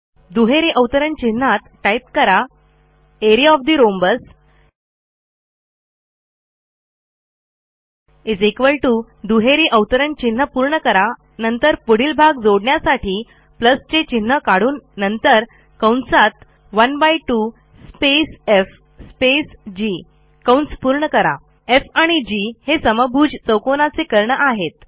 दुहेरी अवतरण चिन्हात टाईप करा एआरईए ओएफ ठे रोम्बस दुहेरी अवतरण चिन्ह पूर्ण करा नंतर पुढील भाग जोडण्यासाठी चे चिन्ह काढून नंतर कंसात 12 स्पेस एफ स्पेस जीf आणि जी हे समभुज चौकोनाचे कर्ण आहेत